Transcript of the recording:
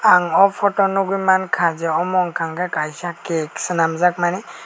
ang o photo o nogoi mangka je amo ungka kei Kaisa cake senamjakmani.